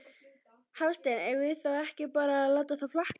Hafsteinn: Eigum við þá ekki bara að láta það flakka?